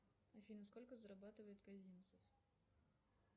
афина сколько зарабатывает казинцев